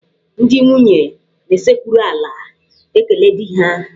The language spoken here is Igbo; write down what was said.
Ndị nwunye na-esekpuru ala ekele di ha.